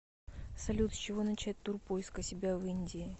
салют с чего начать тур поиска себя в индии